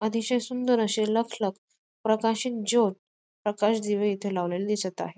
अतिशय सुंदर असे लखलख प्रकाशित ज्योत प्रकाश दिवे इथे लावलेले दिसत आहे.